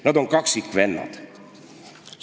Nad on kaksikvennad."